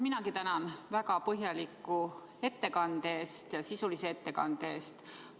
Minagi tänan väga põhjaliku ja sisulise ettekande eest!